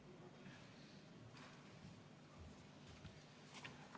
Palun!